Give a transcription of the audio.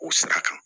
O sira kan